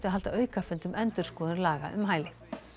að halda aukafund um endurskoðun laga um hæli